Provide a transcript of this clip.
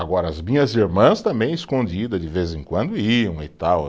Agora, as minhas irmãs também escondidas, de vez em quando, iam e tal.